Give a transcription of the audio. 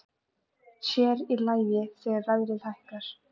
Sér í lagi þegar verðið hækkaði.